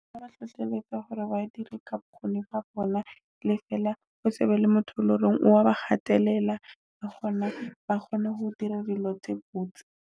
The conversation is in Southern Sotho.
Ba hlohlelletswa hore ba dire ka bokgoni ba bona, le fela o se be le motho le hore wa ba kgatelela le hona ba kgone ho dira dilo tse botse.